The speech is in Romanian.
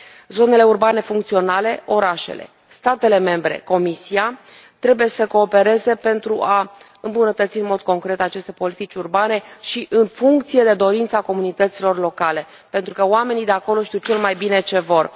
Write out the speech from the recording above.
Zonele urbane funcționale, orașele, statele membre, Comisia trebuie să coopereze pentru a îmbunătăți în mod concret aceste politici urbane și în funcție de dorința comunităților locale, pentru că oamenii de acolo știu cel mai bine ce vor.